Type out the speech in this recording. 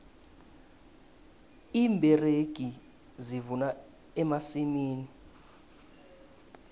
iimberegi zivuna emasimini